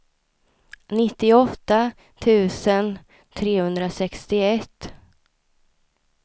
nittioåtta tusen trehundrasextioett